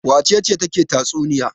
Wace ce take tatsuniya?